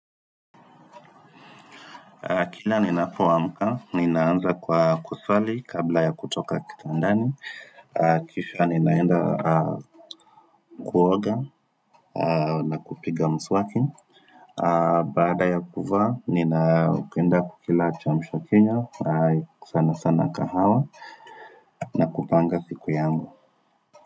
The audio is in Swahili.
Kila ninapoamka, ninaanza kwa kuswali kabla ya kutoka kitandani Kisha ninaenda kuoga na kupiga mswaki Baada ya kuvaa, ninaenda kukila kiamsha kinywa sana sana kahawa na kupanga siku yangu.